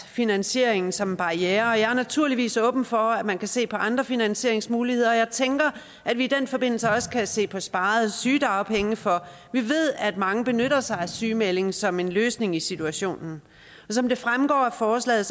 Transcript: finansieringen som en barriere og jeg er naturligvis åben for at man kan se på andre finansieringsmuligheder og jeg tænker at vi i den forbindelse også kan se på sparede sygedagpenge for vi ved at mange benytter sig af en sygemelding som en løsning i situationen som det fremgår af forslaget